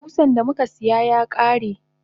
Kusan damuka siya yakare.